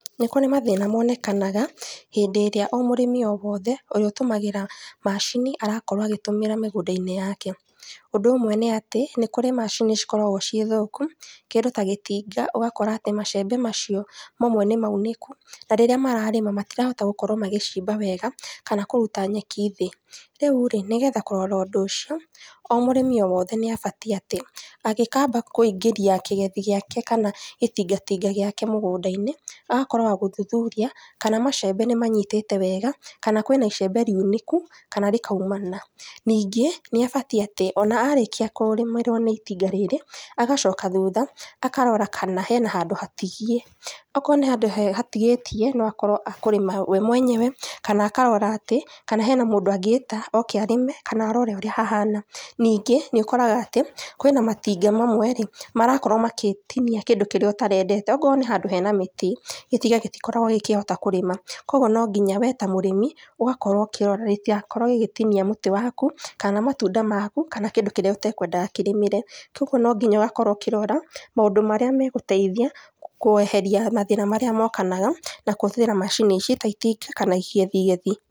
Nĩ kũrĩ mathĩna monekanaga, hĩndĩ ĩrĩa o mũrĩmi o wothe, ũrĩa ũtũmagĩra macini, arakorwo agĩtũmĩra mĩgũnda-inĩ yake, ũndũ ũmwe nĩatĩ, nĩkũrĩ macini cikoragwo ciĩ thũku, kĩndũ ta gĩtinga, ũgakora atĩ macembe macio, mamwe nĩ maunĩku, na rĩrĩa mararĩma, matirahota gũkorwo magĩcimba wega, kana gũkorwo makĩruta nyeki thĩ, rĩu rĩ, nĩgetha kũrora ũndũ ũcio, o mũrĩmi o wothe nĩabatiĩ atĩ, agĩkaba kũingĩria kĩgethi gĩake kana gĩtingatinga gĩake mũgũnda-inĩ, agakorwo wa gũthuthuria, kana macembe nĩmanyitĩte wega, kana kwĩna icembe riunĩku, kana ríkaumana, ningĩ, nĩabatiĩ atĩ, ona arĩkia kũrĩmĩrwo nĩ itinga rĩ, agacoka thutha, akarora kana hena handũ hatigie, okorwo nĩ handũ he hatigĩtie, no akorwo akũrĩma we mwenyewe, kana akarora atĩ kwĩna mũndũ angĩta oke arĩme, kanarore ũrĩa hahana, ningĩ nĩũkoraga atĩ, kwĩna matinga mamwe marakorwo magĩtinia kĩndũ kĩría ũtarendete, okorwo nĩ handũ hena mĩtĩ, gĩtinga gĩtikoragwo gĩkĩrĩma, koguo nonginya, we ta mũrĩmi, ũgakorwo ũkĩrora gĩtigakorwo gĩgĩtinia mũtĩ waku, kana matunda maku, kana kĩrĩa ũtakwendaga kĩrĩmĩre, koguo nonginya ũkorwo ũkĩrora, maũndũ marĩa megũteithia, kweheria mathĩna marĩa mokanaga na kũhũthĩra macini ici, ta itinga kana igithiathi.